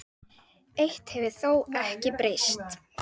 Takk fyrir allt elsku Stefán.